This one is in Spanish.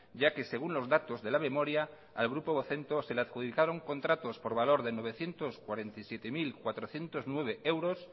ya que según los datos de la memoria al grupo vocento se le adjudicaron contratos por valor de novecientos cuarenta y siete mil cuatrocientos nueve euros